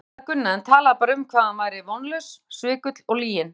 Ég saknaði Gunna en talaði bara um hvað hann væri vonlaus, svikull og lyginn.